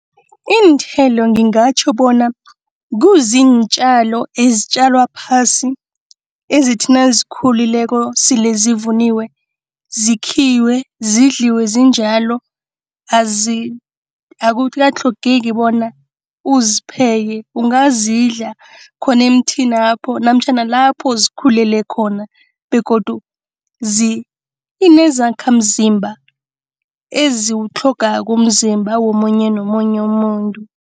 Iinthelo ngingatjho bona kuziintjalo ezitjalwa phasi. Ezithi nazikhulileko sele zivuniwe, zikhiwe zidliwe zinjalo. Akukatlhogeki bona uzipheke. Ungazidla khona emthinapho namtjhana nalapho zikhulele khona begodu zinezakhamzimba, eziwutlhogako umzimba womunye nomunye umuntu.